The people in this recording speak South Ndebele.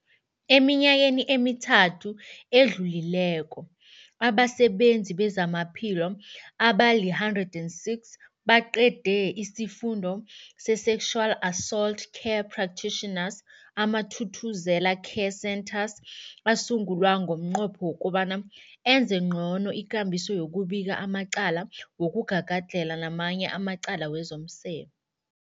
Eminyakeni emithathu edluleko, abasebenzi bezamaphilo abali-106 baqede isiFundo se-Sexual Assault Care Practitioners. AmaThuthuzela Care Centres asungulwa ngomnqopho wokobana enze ngcono ikambiso yokubika amacala wokugagadlhela namanye amacala wezomseme.